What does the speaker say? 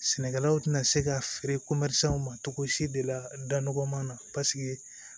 Sɛnɛkɛlaw tɛna se ka feere ma cogo si de la da nɔgɔman na paseke